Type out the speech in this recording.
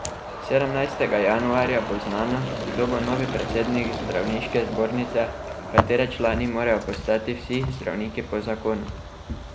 Sedemnajstega januarja bo znano, kdo bo novi predsednik zdravniške zbornice, katere člani morajo postati vsi zdravniki po zakonu.